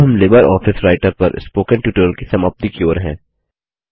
अब हम LibreOffice Writer पर स्पोकन ट्यूटोरियल की समाप्ति की ओर हैं